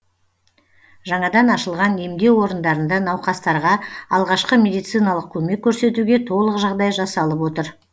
жаңадан ашылған емдеу орындарында науқастарға алғашқы медициналық көмек көрсетуге толық жағдай жасалып отыр